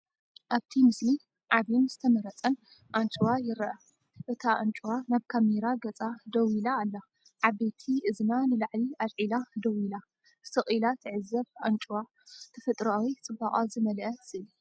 ኣብቲ ምስሊ ዓቢን ዝተመርጸን ኣንጭዋ ይርአ። እታ ኣንጭዋ ናብ ካሜራ ገጻ ደው ኢላ ኣላ። ዓበይቲ እዝና ንላዕሊ ኣልዒላ ደው ኢላ፡ ስቕ ኢላ ትዕዘብ ኣንጭዋ፤ ተፈጥሮኣዊ ጽባቐ ዝመልአ ስእሊ።